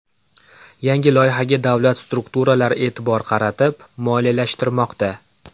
Yangi loyihaga davlat strukturalari e’tibor qaratib, moliyalashtirmoqda .